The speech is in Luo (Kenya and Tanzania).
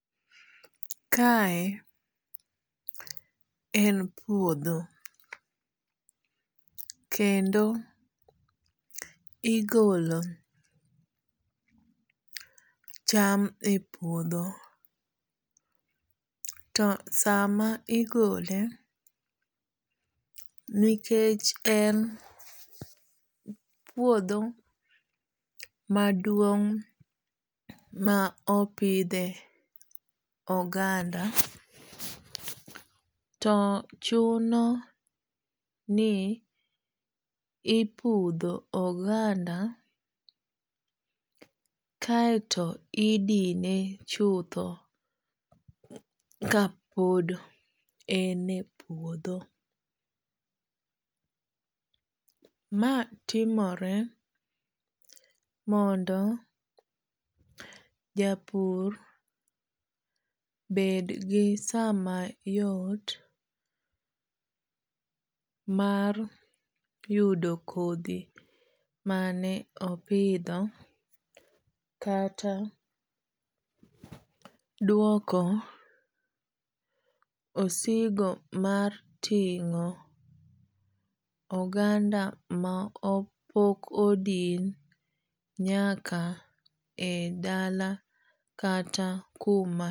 Kae en puodho. Kendo igolo cham e puodho. To sama igole nikech en puodho maduong' ma opidhe oganda, to chuno ni ipudho oganda kaeto idine chutho ka pod ene puodho. Ma timore mondo japur bed gi sama yot mar yudo kodhi mane opidho kata duoko osigo mar ting'o oganda ma pok odin nyaka e dala kata kuma.